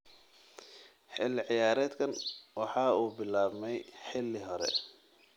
Xilli ciyaareedkan waxa uu bilaabmay xilli hore